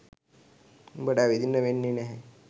උඹට ඇවිදින්න වෙන්නේ නැහැ.